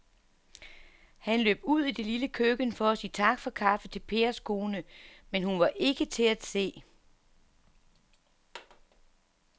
Han løb ud i det lille køkken for at sige tak for kaffe til Pers kone, men hun var ikke til at se.